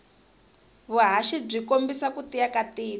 vuhhashi bwikombisa kutiya katiko